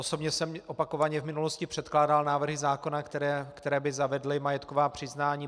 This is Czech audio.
Osobně jsem opakovaně v minulosti předkládal návrhy zákona, které by zavedly majetková přiznání.